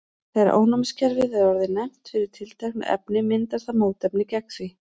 þegar ónæmiskerfið er orðið næmt fyrir tilteknu efni myndar það mótefni gegn því